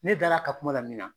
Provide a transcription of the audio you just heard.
Ne dara a ka kuma la min na.